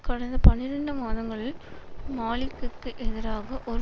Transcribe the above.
கடந்த பனிரண்டு மாதங்களில் மாலிக்கிக்கு எதிராக ஒரு